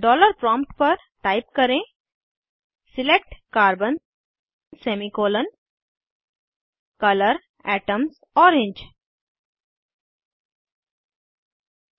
dollar prompt पर type करें select carbon semicolon colour atoms orange select carbon semicolon colour atoms orange